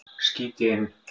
skýt ég inn.